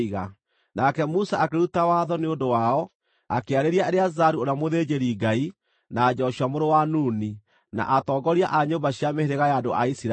Nake Musa akĩruta watho nĩ ũndũ wao, akĩarĩria Eleazaru ũrĩa mũthĩnjĩri-Ngai, na Joshua mũrũ wa Nuni, na atongoria a nyũmba cia mĩhĩrĩga ya andũ a Isiraeli,